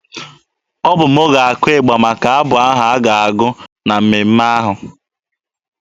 Ọ bụ m ga-akụ ịgba maka abụ a ga-agụ na mmemme ahụ.